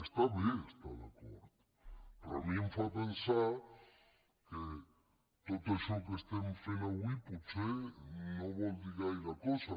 està bé estar d’acord però a mi em fa pensar que tot això que estem avui potser no vol dir gaire cosa